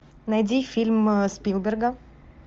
найди фильм спилберга